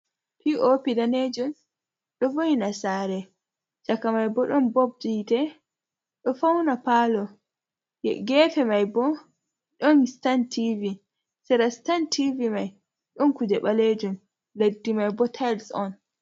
Pi o pi danejum ɗo voyina sare, caka mai bo ɗon bob hite ɗo fauna palo, ha gefe mai bo ɗon stan tivi, sera stan tivi mai ɗon kuje ɓalejun, leddi mai bo tails on.